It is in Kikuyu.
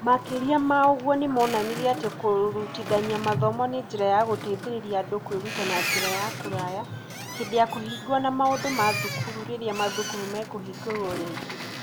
Makĩria ma ũguo, nĩ moonanirie atĩ kũrutithania mathomo nĩ njĩra ya gũteithĩrĩria andũ kwĩruta na njĩra ya kũraya hĩndĩ ya kũhingwo na maũndũ ma thukuru rĩrĩa mathukuru mekũhingũrwo rĩngĩ.